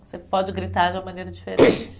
Você pode gritar de uma maneira diferente.